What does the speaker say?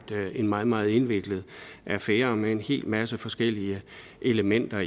er en meget meget indviklet affære med en hel masse forskellige elementer